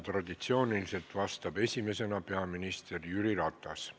Traditsiooniliselt vastab esimesena peaminister Jüri Ratas.